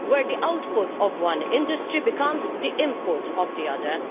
where the output of one industry becomes the input of another.